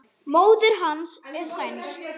Móðir hans er sænsk.